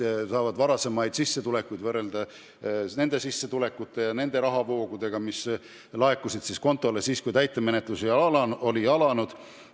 Täiturid saavad varasemaid sissetulekuid võrrelda sissetulekutega, mis on laekunud kontole siis, kui täitemenetlus on alanud.